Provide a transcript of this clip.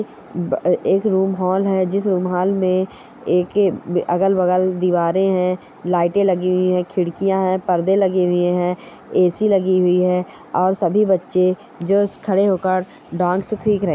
ब ए एक रूम हॉल है जिस हॉल में ए के अगल-बगल दीवारें हेय लाइटें लगी हुई है खिड़कियां है परदे लगे हुए हैं ए.सी. लगी हुई है और सभी बच्चे जो खड़े होकर डांस सीख रहे --